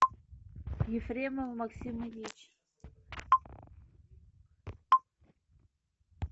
ефремов максим ильич